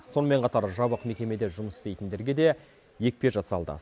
сонымен қатар жабық мекемеде жұмыс істейтіндерге де екпе жасалды